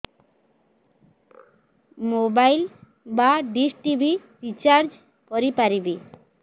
mobile ବା dish TV recharge କରି ପାରିବି